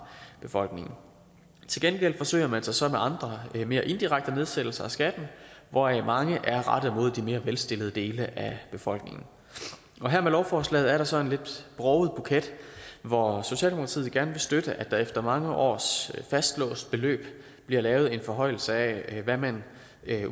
befolkningen til gengæld forsøger man sig så med andre mere indirekte nedsættelser af skatten hvoraf mange er rettet mod de mere velstillede dele af befolkningen her med lovforslaget er der så en lidt broget buket hvor socialdemokratiet gerne vil støtte at der efter mange års fastlåst beløb bliver lavet en forhøjelse af hvad man